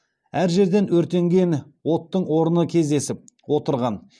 әр жерден өртенген оттың орны кездесіп отырған